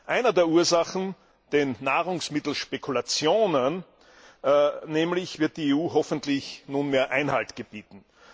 Einer der Ursachen, den Nahrungsmittelspekulationen nämlich, wird die EU hoffentlich nunmehr Einhalt gebieten.